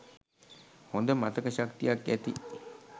හොඳ මතක ශක්තියක් ඇති